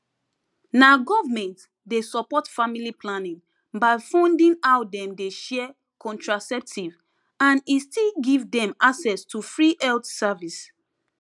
na government dey support family planning by funding how dem dey share contraceptive and e still give dem access to free health service